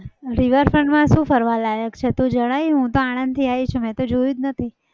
riverfront માં શું ફરવા લાયક છે? એ તો જણાવ હું તો આણદથી આવી છું મેં તો જોયું જ નથી.